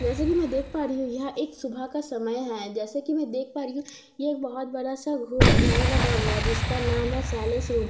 जैसे कि मैं देख पा रही हूं यह एक सुबह का समय है जैसे कि मैं देख पा रही हूं यह बहुत बड़ा सा घ घर बना हुआ है जिसका नाम है सेलेस रूम ।